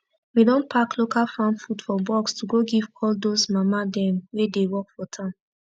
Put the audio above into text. we don pack local farm food for box to go give all dos mama dem wey dey work for town